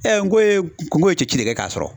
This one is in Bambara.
n ko ye n ko ye ci de kɛ k'a sɔrɔ.